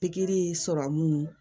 Pikiri sɔrɔmu